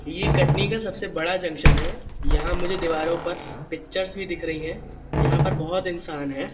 ये कटनी का सबसे बड़ा जंक्शन है यहां मुझे दीवारों पर पिक्चर्स भी दिख रही हैं यहां पर बहुत इंसान है।